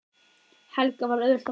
Helga: Var auðvelt að fá vinnu?